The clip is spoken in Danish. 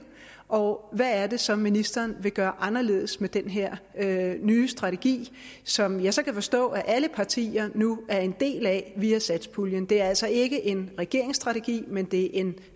og hvad det så er ministeren vil gøre anderledes med den her nye strategi som jeg så kan forstå at alle partier nu er en del af via satspuljen det er altså ikke en regeringsstrategi men det er en